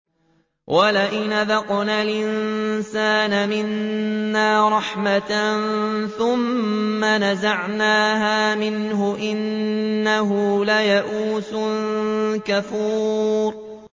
وَلَئِنْ أَذَقْنَا الْإِنسَانَ مِنَّا رَحْمَةً ثُمَّ نَزَعْنَاهَا مِنْهُ إِنَّهُ لَيَئُوسٌ كَفُورٌ